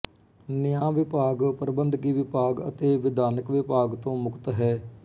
ਨਿਆਂਵਿਭਾਗ ਪ੍ਰਬੰਧਕੀ ਵਿਭਾਗ ਅਤੇ ਵਿਧਾਨਕ ਵਿਭਾਗ ਤੋਂ ਮੁਕਤ ਹੈ